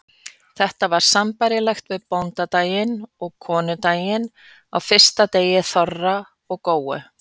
Þetta var sambærilegt við bóndadaginn og konudaginn á fyrsta degi þorra og góu.